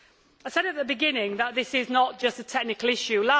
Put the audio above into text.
I said at the beginning that this is not just a technical issue.